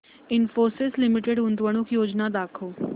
Infosys limited गुंतवणूक योजना दाखव